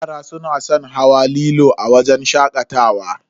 Yara suna san hawa lilo a wajen shakatawa.